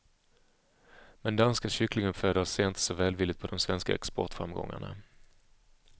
Men danska kycklinguppfödare ser inte så välvilligt på de svenska exportframgångarna.